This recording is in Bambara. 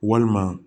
Walima